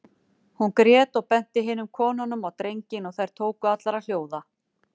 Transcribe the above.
Hún grét og benti hinum konunum á drenginn og þær tóku allar að hljóða.